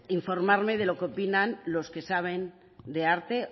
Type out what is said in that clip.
informarme de lo que opinan los que saben de arte